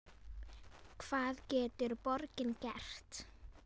Hvað getur borgin gert?